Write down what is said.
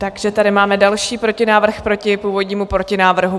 Takže tady máme další protinávrh proti původnímu protinávrhu.